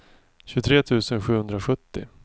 tjugotre tusen sjuhundrasjuttio